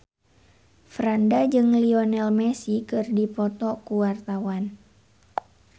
Franda jeung Lionel Messi keur dipoto ku wartawan